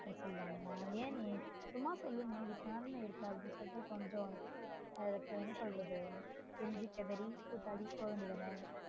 போக கூடாது சொல்லுவாங்களா ஏன் நீ சும்மா சொல்லு family இருக்கதுனு என்ன சொல்றது கொஞ்சம் என்ன சொல்றது கெஞ்சி கதறி கூத்தாடி போக வேண்டியது தான